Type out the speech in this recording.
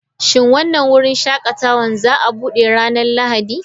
Shin wannan wurin shakatawa za a buɗe ranar Lahadi?